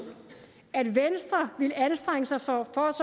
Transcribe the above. at venstre ville anstrenge sig for